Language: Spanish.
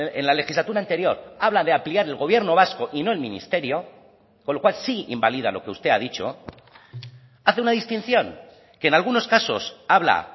en la legislatura anterior habla de ampliar el gobierno vasco y no el ministerio con lo cual sí invalida lo que usted ha dicho hace una distinción que en algunos casos habla